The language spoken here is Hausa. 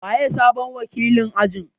Waye sabon wakilin ajin?